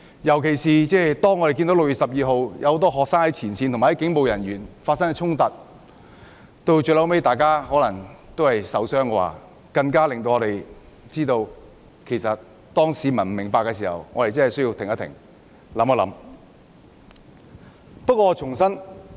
尤其是6月12日，很多學生在前線與警務人員發生衝突，最後可能有人受傷，我們更認為在市民不明白的時候，我們真的需要停一停，想一想。